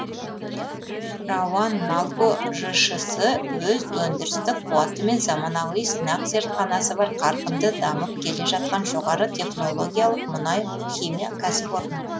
рауанналко жшс өз өндірістік қуаты мен заманауи сынақ зертханасы бар қарқынды дамып келе жатқан жоғары технологиялық мұнай химия кәсіпорны